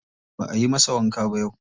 Ba ayi masa wanka ba yau.